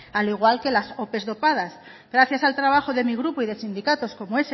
al igual que las ope dopadas gracias al trabajo de mi grupo y de sindicatos como